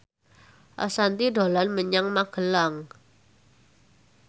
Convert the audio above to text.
Ashanti dolan menyang Magelang